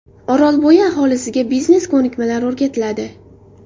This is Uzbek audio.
Orolbo‘yi aholisiga biznes ko‘nikmalari o‘rgatiladi.